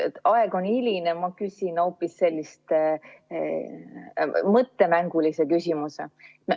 Aeg on hiline, ma küsin hoopis sellise mõttemängulise küsimuse.